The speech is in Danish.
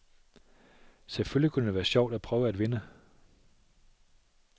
Selvfølgelig kunne det være sjovt at prøve at vinde